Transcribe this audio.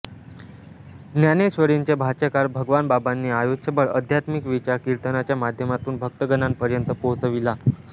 ज्ञानेश्वरींचे भाष्यकार भगवानबाबांनी आयुष्यभर आध्यात्मिक विचार कीर्तनाच्या माध्यमातून भक्तगणांपर्यन्त पोहचविला